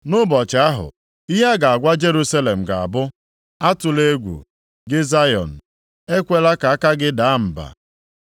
Nʼụbọchị ahụ, ihe a ga-agwa Jerusalem ga-abụ, “Atụla egwu, gị Zayọn, ekwela ka aka gị daa mba.